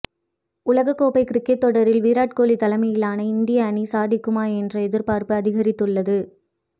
உலகக் கோப்பை கிரிக்கெட் தொடரில் விராட் கோலி தலைமையிலான இந்திய அணி சாதிக்குமா என்ற எதிர்பார்ப்பு அதிகரித்துள்ளது